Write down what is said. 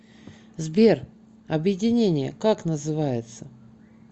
сбер объединение как называется